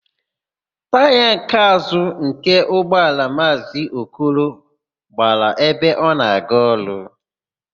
Taya nke àzụ́ nke ụgbọala Maazị Okoro gbara ebe ọ na-aga ọrụ.